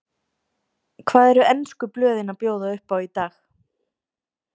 Hvað eru ensku blöðin að bjóða upp á í dag?